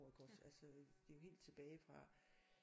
Iggås altså det er jo helt tilbage fra